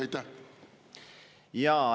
Aitäh!